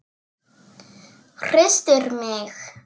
Hristir mig.